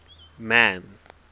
man